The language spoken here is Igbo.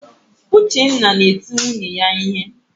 Uchenna na-eti nwunye ya ihe.